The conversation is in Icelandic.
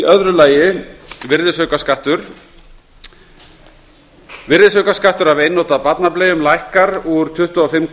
öðrum virðisaukaskatt virðisaukaskattur af einnota barnableium lækkar úr tvö hundruð fimmtíu